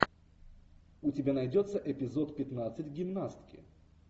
у тебя найдется эпизод пятнадцать гимнастки